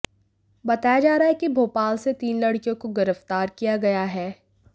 बताया जा रहा है कि भोपाल से तीन लड़कियों को गिरफ्तार किया गया है